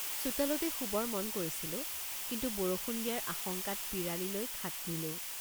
চোতালতেই শুবৰ মন কৰিছিলোঁ কিন্তু বৰষুণ দিয়াৰ আশঙ্কাত পিৰালিলৈ খাট নিলোঁ।